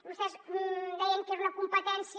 vostès deien que era una competència